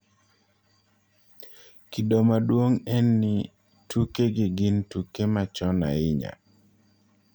Kido maduong� en ni tukegi gin tuke machon ahinya.